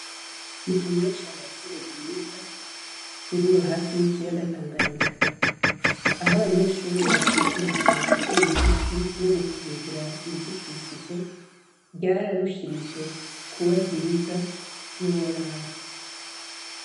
Mu Kanyosha hari ishure ryiza riri hafi yikiyaga Tanganyika .Aho abanyeshure batanguriye, gutera ibiti no gukingira ibidukikije ryararushirije kuba ryiza ntiworaba.